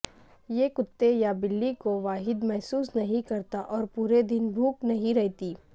یہ کتے یا بلی کو واحد محسوس نہیں کرتا اور پوری دن بھوک نہیں رہتی